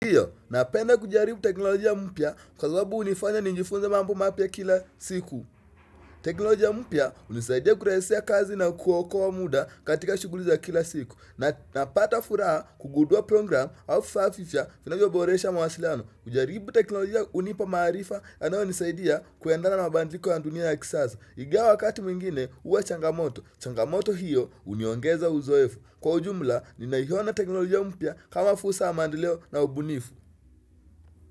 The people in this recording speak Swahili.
Ndiyo napenda kujaribu teknolojia mpya kwa sababu hunifanya nijifunze mambo mapya kila siku. Teknolojia mpya hunisaidia kurahisisha kazi na kuokoa muda katika shughuli za kila siku. Napata furaha kugundua program au vifaa vipya vinavyoboresha mawasiliano. Kujaribu teknolojia hunipa maarifa yanayonisaidia kuendana na mabadiliko ya dunia ya kisasa. Ingawa wakati mwingine huwa changamoto. Changamoto hiyo huniongeza uzoefu. Kwa ujumla, ninaiona teknolojia mpya kama fursa ya maendeleo na ubunifu.